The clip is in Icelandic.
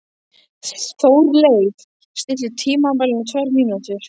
Þórleif, stilltu tímamælinn á tvær mínútur.